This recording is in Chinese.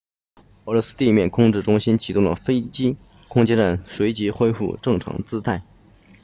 俄罗斯地面控制中心启动了飞机空间站随即恢复正常姿态